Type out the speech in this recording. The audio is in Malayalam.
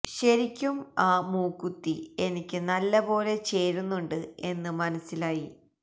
ശെരിക്കും ആ മൂക്കുത്തി എനിക്ക് നല്ല പോലെ ചേരുന്നുണ്ട് എന്ന് മനസിലായി